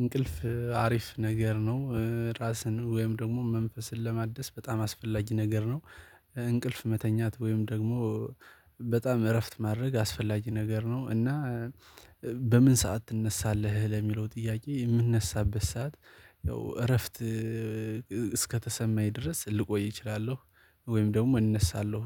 እንቅልፍ አሪፍ ነገር ነው ራስን ወይም ደግሞ መንፈስን ለማደስ በጣም አስፈላጊ ነገር ነው። እንቅልፍ መተኛት ወይም ደግሞ በጣም እረፍት ማድረግ አስፈላጊ ነገር ነው። እና በምን ሰዓት ትነሳለህ ለሚለው ጥያቄ የምንነሳበት ሰዓት? ያው እረፍት እስከተሰማኝ ድረስ ልቆይ እችላለሁ ወይም ደግሞ እነሳለሁ።